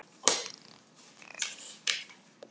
Linda: Hvernig gekk þér?